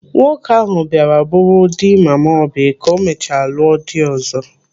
Nwoke ahụ bịara bụrụ dị mama Oby ka o mechara lụọ di ọzọ.